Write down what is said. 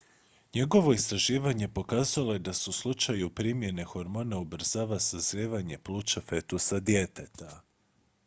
njegovo istraživanje pokazalo je da se u slučaju primjene hormona ubrzava sazrijevanje pluća fetusa djeteta